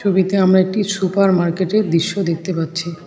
ছবিতে আমরা একটি সুপার মার্কেটের দৃশ্য দেখতে পাচ্ছি।